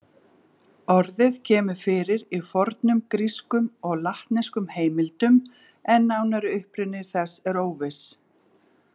Orðið kemur fyrir í fornum grískum og latneskum heimildum en nánari uppruni þess er óviss.